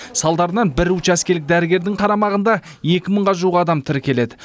салдарынан бір учаскелік дәрігердің қарамағында екі мыңға жуық адам тіркеледі